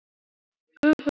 Ég skildi hann! segir Ben.